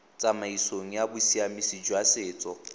tsamaisong ya bosiamisi jwa setso